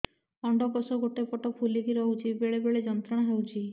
ଅଣ୍ଡକୋଷ ଗୋଟେ ପଟ ଫୁଲିକି ରହଛି ବେଳେ ବେଳେ ଯନ୍ତ୍ରଣା ହେଉଛି